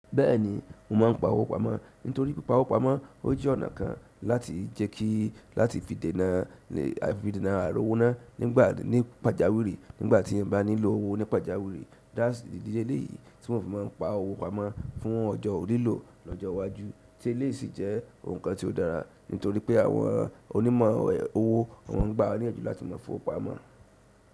Bẹ́ẹ̀ni, mo ma n pa owó pamọ́ nítorí pípa owó pamọ́, ó jẹ́ ọ̀nà kan láti jẹ́ kí láti fi dènà, fi dènà àròwóná nígbà ní pàjáwìrì nígbà tí mo bá nílò owó ní pàjáwìrì. Idi leleyìí tí mo fi mọ n pa owó pamọ́ fún ọjọ́ lilo lọ́jọ́ iwájú ti eleyi sì jẹ́ ohun kan tí ó dára nítorí pé àwọn onímọ̀ owó, wọ́n má a n gbà wá ní iyanju láti máa fi owó pamọ́.